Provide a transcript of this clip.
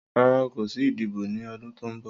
Rara, ko si idibo ni ọdun to nbọ.